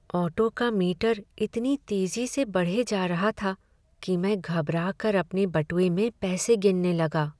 Auto का meter इतनी तेजी से बढ़े जा रहा था कि मैं घबरा कर अपने बटुए में पैसे गिनने लगा।